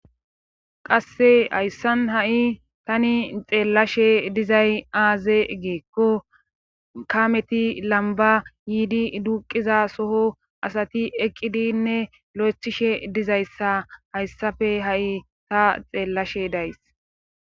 Qassi hayssan ha7i tani xeellashe dizay aaze giikko kaameti lambba yidi duuqqiza soho asati eqqidinne loyttishe dizayssa hayssape ha7i ta xeellashe days.